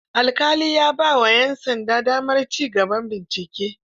Alƙali ya ba wa 'yan sanda damar ci gaba bincike.